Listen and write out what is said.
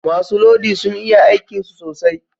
Masu lodi sun iya aikin su sosai